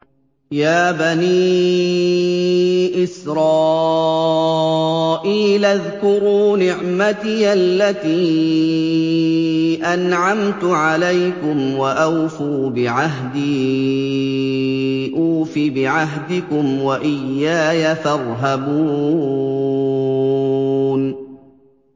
يَا بَنِي إِسْرَائِيلَ اذْكُرُوا نِعْمَتِيَ الَّتِي أَنْعَمْتُ عَلَيْكُمْ وَأَوْفُوا بِعَهْدِي أُوفِ بِعَهْدِكُمْ وَإِيَّايَ فَارْهَبُونِ